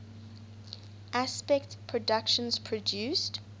aspect productions produced